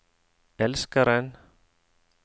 elskeren